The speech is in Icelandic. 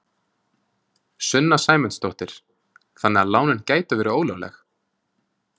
Sunna Sæmundsdóttir: Þannig að lánin gætu verið ólögleg?